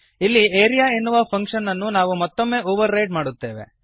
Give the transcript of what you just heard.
ಇಲ್ಲಿ ಆರಿಯಾ ಎನ್ನುವ ಫಂಕ್ಷನ್ ಅನ್ನು ನಾವು ಮತ್ತೊಮ್ಮೆ ಓವರ್ ರೈಡ್ ಮಾಡುತ್ತೇವೆ